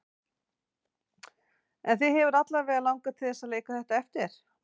En þig hefur alla vega langað til að leika þetta eftir?